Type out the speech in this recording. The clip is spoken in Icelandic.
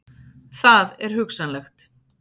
Það er hugsanlegt.